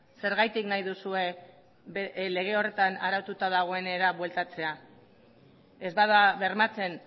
zergatik nahi duzue lege horretan araututa dagoenera bueltatzea ez bada bermatzen